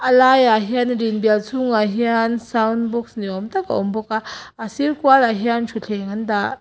a lai ah hian a rin bial chhung ah hian soundbox ni awm tak a awm bawk a a sir kual ah hian thutthleng an dah.